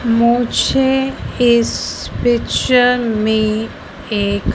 मुझे इस पिक्चर में एक--